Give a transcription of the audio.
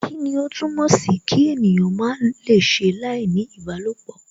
Kíni ó túmọ̀ sìí kí ènìyàn má lè ṣe láìní ìbálòpọ?